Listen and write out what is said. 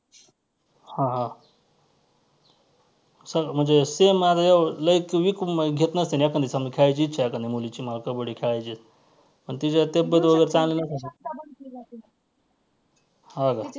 हां हां म्हणजे same लई weak घेत नसतील एखांदी चांगली खेळायची इच्छा आहे का नाही मुलीची मला कबड्डी खेळायची आहे आणि तिची तब्येत वगैरे चांगली नसेल हां का.